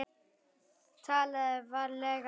TALAÐU VARLEGA